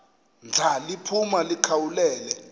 ndla liphuma likhawulele